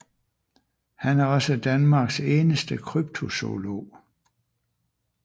Han er også Danmarks eneste kryptozoolog